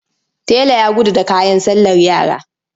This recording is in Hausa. Tela ya gudu da kayan sallar yara.